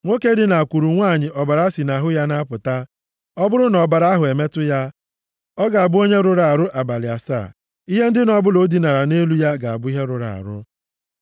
“ ‘Nwoke dinakwuru nwanyị ọbara si nʼahụ ya na-apụta, ọ bụrụ na ọbara ahụ emetụ ya, ọ ga-abụ onye rụrụ arụ abalị asaa. Ihe ndina ọbụla o dinara nʼelu ya ga-abụ ihe rụrụ arụ.